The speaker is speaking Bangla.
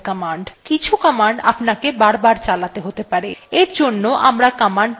কিছু command আপনাকে বারবার চালাতে হতে পারে